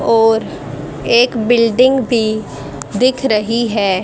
और एक बिल्डिंग भी दिख रही है।